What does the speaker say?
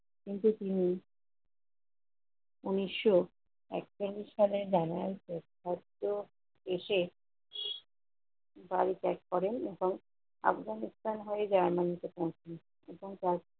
কিন্তু তিনি উনিশশো একচল্লিশ সালের january তে অত্র এসে বাল ত্যাগ করেন এবং আফগানিস্থান হয়ে যায় এমন দুটো সংস্থান এবং তার